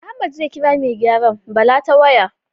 Ahmad zai ƙira mai gyaran Bala ta waya